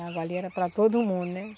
A água ali era para todo mundo, né?